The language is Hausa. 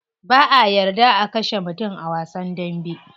Ba'a yarda a kashe mutum ba a wasan dambe.